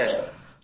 হ্যাঁ স্যার